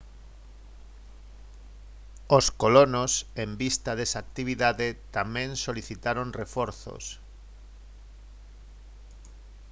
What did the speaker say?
os colonos en vista desa actividade tamén solicitaron reforzos